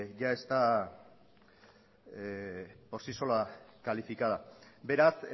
ya está por si sola calificada beraz